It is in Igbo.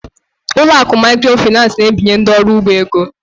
Ụlọ akụ microfinance na-ebinye ndị ọrụ ugbo ego.